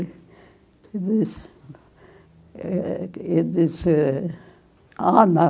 Eu disse eh, eu disse, ah, não.